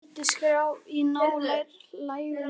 Því fylgdi skrjáf í ná lægum runna.